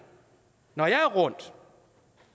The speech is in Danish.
når jeg er rundt